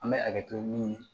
An bɛ hakɛ to min ye